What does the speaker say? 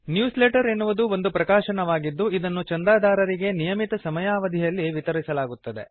news letter ಎನ್ನುವುದು ಒಂದು ಪ್ರಕಾಶನವಾಗಿದ್ದು ಇದನ್ನು ಚಂದಾದಾರರಿಗೆ ನಿಯಮಿತ ಸಮಯಾವಧಿಯಲ್ಲಿ ವಿತರಿಸಲಾಗುತ್ತದೆ